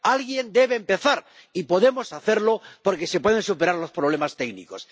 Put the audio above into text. Alguien debe empezar y podemos hacerlo, porque se puede superar los problemas técnicos.